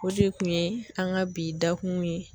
O de kun ye an ka bi da kun ye.